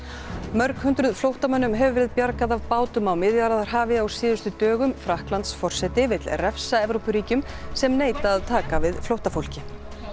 mörg hundruð flóttamönnum hefur verið bjargað af bátum á Miðjarðarhafi á síðustu dögum Frakklandsforseti vill refsa Evrópuríkjum sem neita að taka við flóttafólki